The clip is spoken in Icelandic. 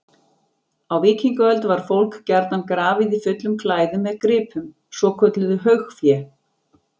Á víkingaöld var fólk gjarnan grafið í fullum klæðum með gripum, svokölluðu haugfé.